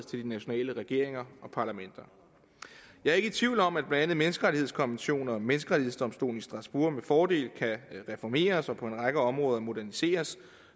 de nationale regeringer og parlamenter jeg er ikke tvivl om at blandt andet menneskerettighedskonventioner og menneskerettighedsdomstolen i strasbourg med fordel kan reformeres og på en række områder moderniseres